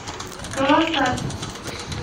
кавасаки